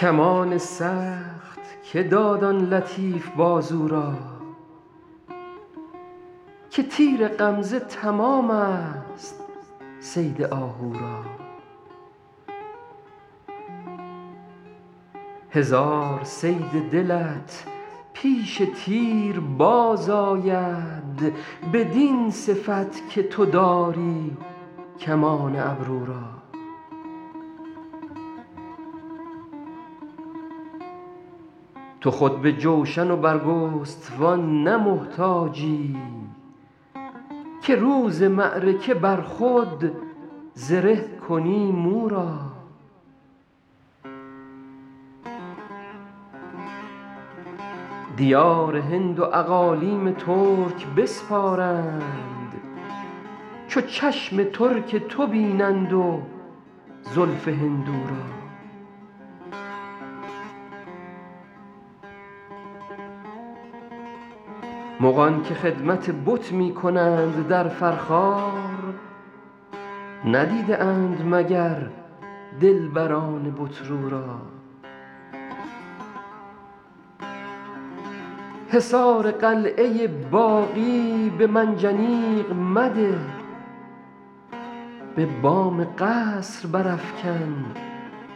کمان سخت که داد آن لطیف بازو را که تیر غمزه تمام ست صید آهو را هزار صید دلت پیش تیر باز آید بدین صفت که تو داری کمان ابرو را تو خود به جوشن و برگستوان نه محتاجی که روز معرکه بر خود زره کنی مو را دیار هند و اقالیم ترک بسپارند چو چشم ترک تو بینند و زلف هندو را مغان که خدمت بت می کنند در فرخار ندیده اند مگر دلبران بت رو را حصار قلعه باغی به منجنیق مده به بام قصر برافکن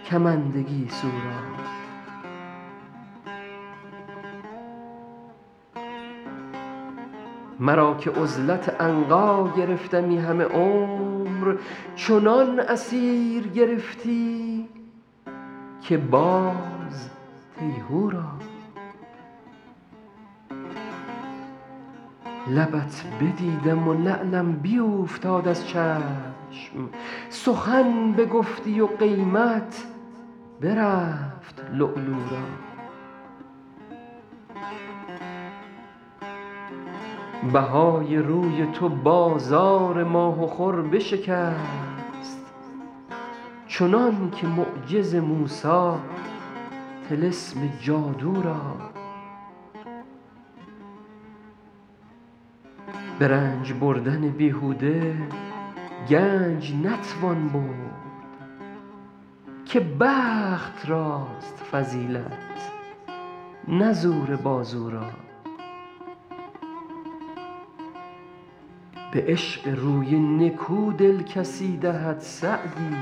کمند گیسو را مرا که عزلت عنقا گرفتمی همه عمر چنان اسیر گرفتی که باز تیهو را لبت بدیدم و لعلم بیوفتاد از چشم سخن بگفتی و قیمت برفت لؤلؤ را بهای روی تو بازار ماه و خور بشکست چنان که معجز موسی طلسم جادو را به رنج بردن بیهوده گنج نتوان برد که بخت راست فضیلت نه زور بازو را به عشق روی نکو دل کسی دهد سعدی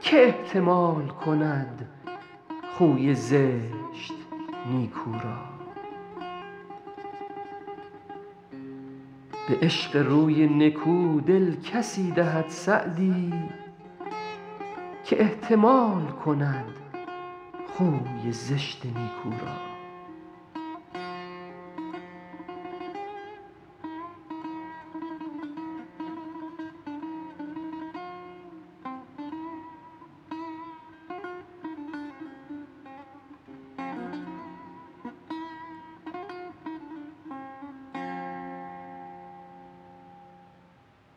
که احتمال کند خوی زشت نیکو را